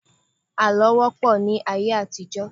Àlọ́ wọ́ pọ̀ ní ayé àtijọ́.